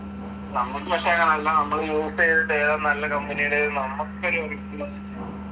നമ്മക്ക് പക്ഷെ അങ്ങനല്ല, നമ്മള് യൂസ് ചെയ്തിട്ട് ഏതാ നല്ല കമ്പിനീടേതെന്ന് നമ്മക്കൊരു